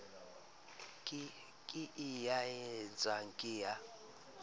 ke e nyatsang ke ya